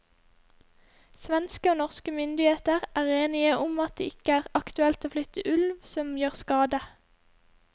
Svenske og norske myndigheter er enige om det ikke er aktuelt å flytte ulv som gjør skade.